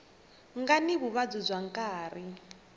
nga ni vuvabyi bya nkarhi